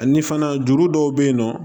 Ani fana juru dɔw bɛ yen nɔ